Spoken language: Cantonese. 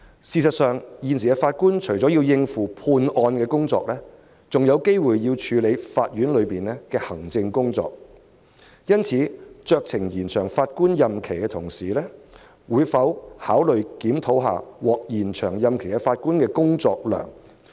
事實上，法官現時除了要應付判案工作，有時還要處理法院的行政工作，因此，酌情延展法官退休年齡的同時，當局會否考慮檢討獲延展退休年齡法官的工作量？